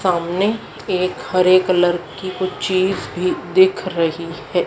सामने एक हरे कलर की कुछ चीज भी दिख रही है।